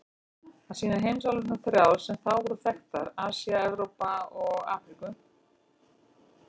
Það sýnir heimsálfurnar þrjár sem þá voru þekktar: Asíu, Evrópu og Afríku.